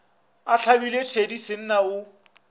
a hlabile thedi senna o